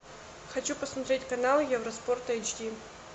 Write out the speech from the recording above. хочу посмотреть канал евроспорт эйч ди